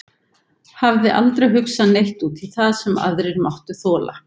Hafði aldrei hugsað neitt út í það sem aðrir máttu þola.